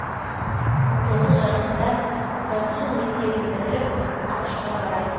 он тоғыз жасында француз мектебін бітіріп ақш қа барады